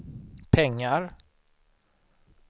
pengar